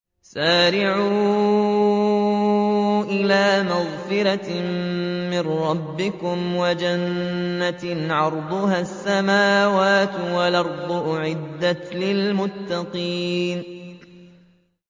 ۞ وَسَارِعُوا إِلَىٰ مَغْفِرَةٍ مِّن رَّبِّكُمْ وَجَنَّةٍ عَرْضُهَا السَّمَاوَاتُ وَالْأَرْضُ أُعِدَّتْ لِلْمُتَّقِينَ